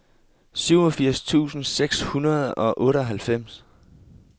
syvogfirs tusind seks hundrede og otteoghalvfems